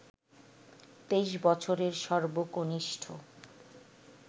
২৩ বছরের সর্বকনিষ্ঠ